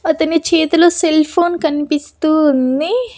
అతని చేతిలో cell phone కనిపిస్తూ ఉంది.